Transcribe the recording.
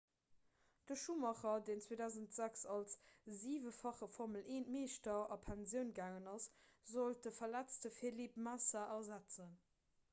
de schumacher deen 2006 als siwefache formel-1-meeschter a pensioun gaangen ass sollt de verletzte felipe massa ersetzen